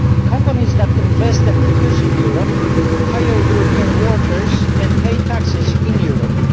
Companies that invest and produce in Europe hire European workers and pay taxes in Europe.